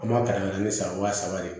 An b'a pɛrɛn-kɛrɛnnen san waa saba de